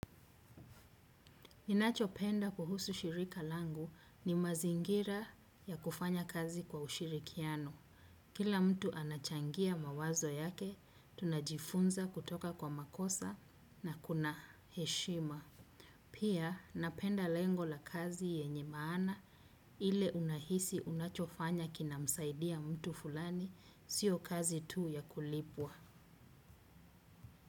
Ninachopenda kuhusu shirika langu ni mazingira ya kufanya kazi kwa ushirikiano. Kila mtu anachangia mawazo yake, tunajifunza kutoka kwa makosa na kuna heshima. Pia napenda lengo la kazi yenye maana ile unahisi unachofanya kinamsaidia mtu fulani, sio kazi tu ya kulipwa.